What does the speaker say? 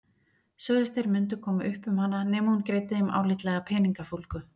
Sögðust þeir mundu koma upp um hana nema hún greiddi þeim álitlega peningafúlgu.